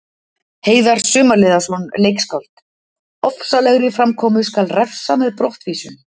Heiðar Sumarliðason, leikskáld: Ofsalegri framkomu skal refsa með brottvísun.